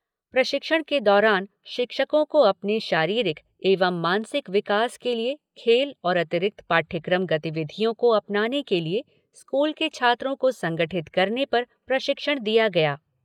प्रशिक्षण के दौरान शिक्षको को अपने शारीरिक एवं मानसिक विकास के लिए खेल और अतिरिक्त पाठ्यक्रम गतिविधियों को अपनाने के लिए स्कूल के छात्रों को संगठित करने पर प्रशिक्षण दिया गया।